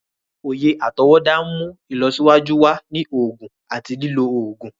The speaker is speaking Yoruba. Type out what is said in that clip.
Oyè atọwọda n mú ìlọsíwájú wá ní oògùn àti lilọ oògùn.